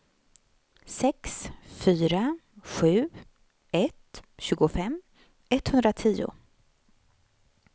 sex fyra sju ett tjugofem etthundratio